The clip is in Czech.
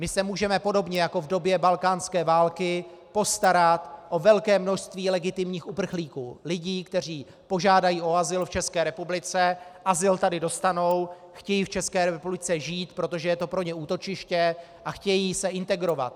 My se můžeme podobně jako v době balkánské války postarat o velké množství legitimních uprchlíků, lidí, kteří požádají o azyl v České republice, azyl tady dostanou, chtějí v České republice žít, protože je to pro ně útočiště, a chtějí se integrovat.